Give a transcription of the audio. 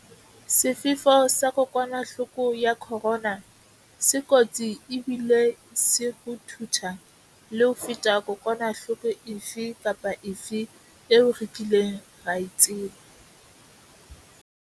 Sefefo sa kokwanahloko ya corona se kotsi ebile se ruthutha le ho feta kokwanahloko efe kapa efe eo re kileng ra e tseba.